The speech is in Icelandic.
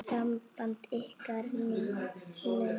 Samband ykkar Ninnu náið.